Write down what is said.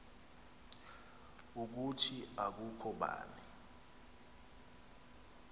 ukuthi akukho bani